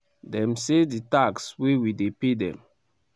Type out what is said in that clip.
dem say di tax wey we dey pay dem